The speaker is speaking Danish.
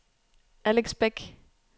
Alex Bech